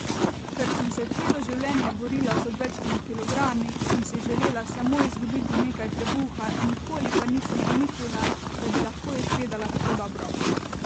Ker sem se celo življenje borila z odvečnimi kilogrami sem si želela samo izgubiti nekaj trebuha nikoli pa nisem pomislila, da bi lahko izgledala tako dobro.